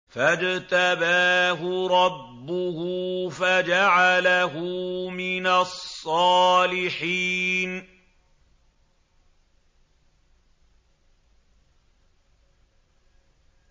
فَاجْتَبَاهُ رَبُّهُ فَجَعَلَهُ مِنَ الصَّالِحِينَ